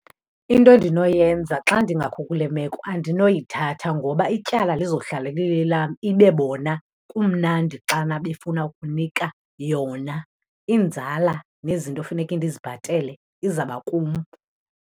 Into endinoyenza, xa ndingakho kule meko andinoyithatha ngoba ityala lizohlala lilelam, ibe bona kumnandi xana befuna ukunika yona. Inzala nezinto efuneke ndizibhatele izaba kum.